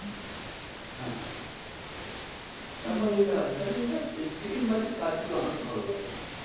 হ্যাঁ তারপর আচ্ছা এইটা আছে তাহলে এইটা চিটিংবাজি কাজগুলো আমাকে ভালো লাগে না।